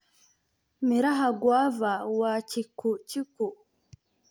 Miraha Guava waa chikuchiku.